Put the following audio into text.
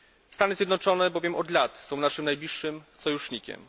Stany Zjednoczone bowiem od lat są naszym najbliższym sojusznikiem.